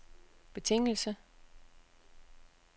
betingelse